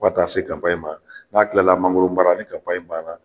Fɔ ka taa se ma n'a tilala mangoro baara ni ban na.